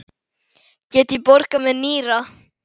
Get ég borgað með nýra?